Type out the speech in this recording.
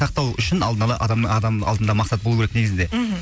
сақтау үшін алдын ала адамның адам алдында мақсат болу керек негізінде мхм